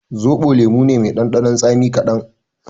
Zoɓo lemo ne mai ɗanɗanon tsami kaɗan